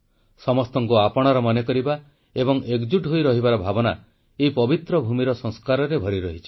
ସମସ୍ତଙ୍କୁ ଆପଣାର ମନେ କରିବା ଏବଂ ଏକଜୁଟ୍ ହୋଇ ରହିବାର ଭାବନା ଏଇ ପବିତ୍ର ଭୂମିର ସଂସ୍କାରରେ ଭରିରହିଛି